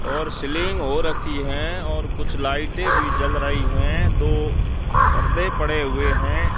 और सीलिंग हो रखी है और कुछ लाइटें भी जल रही है दो पर्दे पड़े हुए हैं।